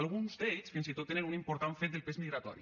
alguns d’ells fins i tot tenen un important fet del pes migratori